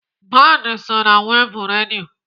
Band so na wev redio.